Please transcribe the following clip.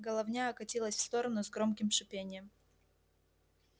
головня откатилась в сторону с громким шипением